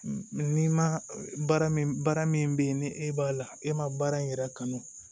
Ni ma baara min baara min bɛ yen ni e b'a la e ma baara in yɛrɛ kanu